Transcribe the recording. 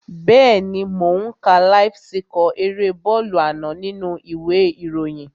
Bẹ́ẹ̀ni mò ó ń ka láíf síkọ̀ erée bọ́ọ̀lù àná nínú u ìwé ìròyìn